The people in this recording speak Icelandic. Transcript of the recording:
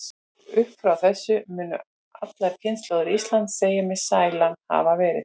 Upp frá þessu munu allar kynslóðir Íslands segja mig sælan hafa verið.